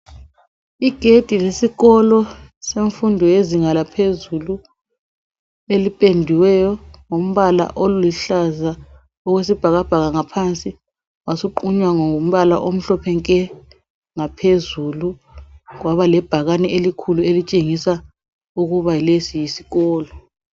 Igedi lesikolo semfundo yezinga laphezulu elipendiweyo ngombala oluhlaza okwesibhakabhaka ngaphansi wasuqunywa ngombala omhlophe nke, ngaphezulu kwaba lebhakani elikhulu elitshengisa ukuba lesi yisikolo.